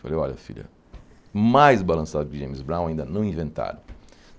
Falei, olha filha, mais balançado que James Brown ainda não inventaram.